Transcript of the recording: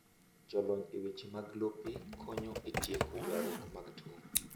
Jolony e weche mag lope konyo e tieko ywarruok mag tong’.